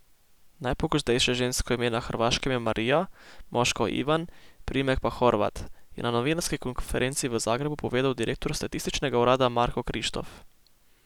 Najpogostejše žensko ime na Hrvaškem je Marija, moško Ivan, priimek pa Horvat, je na novinarski konferenci v Zagrebu povedal direktor statističnega urada Marko Krištof.